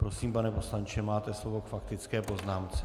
Prosím, pane poslanče, máte slovo k faktické poznámce.